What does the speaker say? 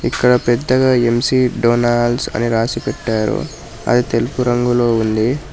ఇక్కడ పెద్దగా McDonald's అని రాసి పెట్టారు అది తెలుగు రంగులో ఉంది.